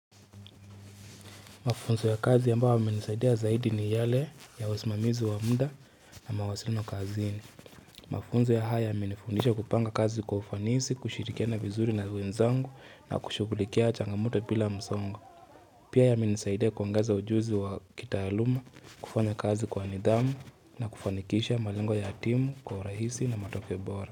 Mafunzo ya kazi ambayo yamenisaidia zaidi ni yale ya wasimamizi wa mda na mawasiliano kazini. Mafunzo ya haya yamenifundisha kupanga kazi kwa ufanisi, kushirikiana vizuri na wenzangu na kushughulikia changamoto bila msongo. Pia yamenisaidia kuangaza ujuzi wa kitaaluma, kufanya kazi kwa nidhamu na kufanikisha malengo ya timu, kwa rahisi na matoke bora.